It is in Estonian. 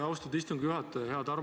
Austatud istungi juhataja!